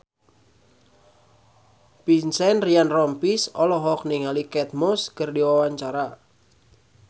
Vincent Ryan Rompies olohok ningali Kate Moss keur diwawancara